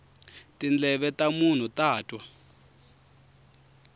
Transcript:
tindleve ta munhu ta twa